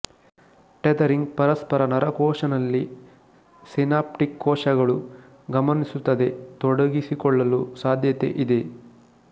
tethering ಪರಸ್ಪರ ನರಕೋಶ ನಲ್ಲಿ ಸಿನಾಪ್ಟಿಕ್ ಕೋಶಕಗಳು ಗಮನಿಸುತ್ತದೆ ತೊಡಗಿಸಿಕೊಳ್ಳುವ ಸಾಧ್ಯತೆಯಿದೆ